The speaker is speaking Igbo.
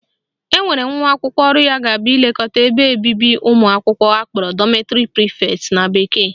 Enwere nwa akwụkwọ ọrụ ya ga-abụ ilekọta ụlọ ebe obibi ụmụakwụkwọ akpọrọ dormitory prefect na bekee